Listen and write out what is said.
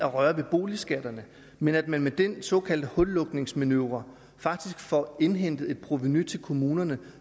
røre ved boligskatterne men at man med den såkaldte hullukningsmanøvre faktisk får indhentet et provenu til kommunerne